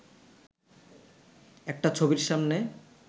একটা ছবির সামনে